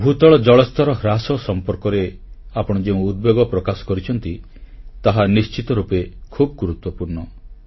ଭୂତଳ ଜଳସ୍ତର ହ୍ରାସ ସମ୍ପର୍କରେ ଆପଣ ଯେଉଁ ଉଦ୍ବେଗ ପ୍ରକାଶ କରିଛନ୍ତି ତାହା ନିଶ୍ଚିତ ରୂପେ ଖୁବ୍ ଗୁରୁତ୍ୱପୂର୍ଣ୍ଣ